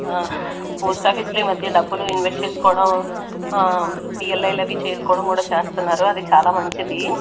అహ్ post office లో ఈమధ్య డబ్బులు ఇన్వెస్ట్ చేస్కోడం ఆ పి_ఎల్_ఐ అవి కూడా చేస్కోడం కూడా చేస్తన్నారు అది చాలా మంచిది.